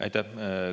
Aitäh!